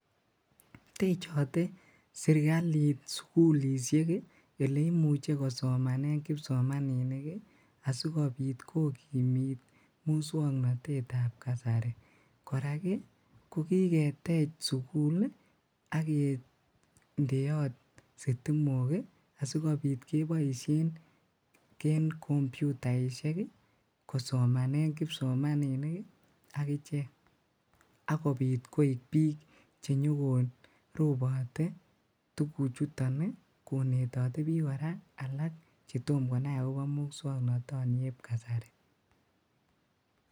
Techote serikalit sukulishek eleimuche kosomanen kipsomaninik asikobit kokimiit muswoknotetab kasari, korak ko kiketech sukul ak kindeot sitimok asikobit keboishen en komputaishek kosomanen kipsomaninik ak ichek akobiit koik biik chenyo ko robote tukuchuton konetote biik kora alak chetomo konai akobo muswoknotonieb kasari.